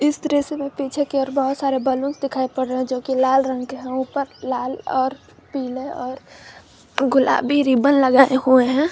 इस दृश्य में पीछे की और बहुत सारे बैलून दिखाएं पड़ रहा है जो की लाल रंग के हैं ऊपर लाल और पीले और गुलाबी रिबन लगाए हुए हैं।